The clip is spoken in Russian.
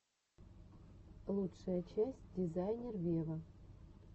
лучшая часть дизайнер вево